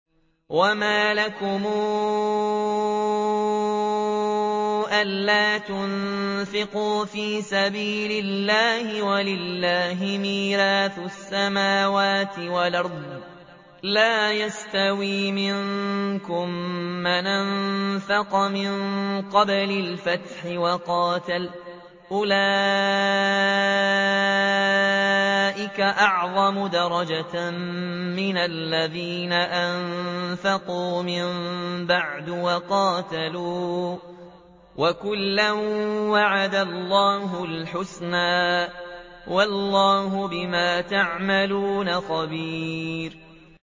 وَمَا لَكُمْ أَلَّا تُنفِقُوا فِي سَبِيلِ اللَّهِ وَلِلَّهِ مِيرَاثُ السَّمَاوَاتِ وَالْأَرْضِ ۚ لَا يَسْتَوِي مِنكُم مَّنْ أَنفَقَ مِن قَبْلِ الْفَتْحِ وَقَاتَلَ ۚ أُولَٰئِكَ أَعْظَمُ دَرَجَةً مِّنَ الَّذِينَ أَنفَقُوا مِن بَعْدُ وَقَاتَلُوا ۚ وَكُلًّا وَعَدَ اللَّهُ الْحُسْنَىٰ ۚ وَاللَّهُ بِمَا تَعْمَلُونَ خَبِيرٌ